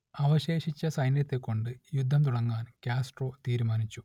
അവശേഷിച്ച സൈന്യത്തെക്കൊണ്ടു യുദ്ധം തുടങ്ങാൻ കാസ്ട്രോ തീരുമാനിച്ചു